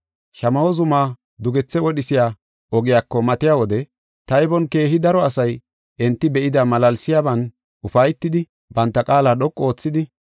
Shamaho zuma dugethe wodhisiya ogiyako matiya wode, taybon keehi daro asay enti be7ida malaalsiyaban ufaytidi banta qaala dhoqu oothidi,